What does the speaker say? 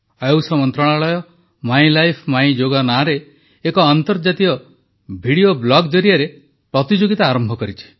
ଆୟୁଷ ମନ୍ତ୍ରଣାଳୟ my life my yoga ନାଁରେ ଏକ ଆନ୍ତର୍ଜାତିକ ଭିଡିଓ ବ୍ଲଗ୍ ଜରିଆରେ ପ୍ରତିଯୋଗିତା ଆରମ୍ଭ କରିଛି